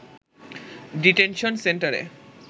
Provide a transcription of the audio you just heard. detention সেন্টারে